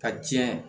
Ka tiɲɛ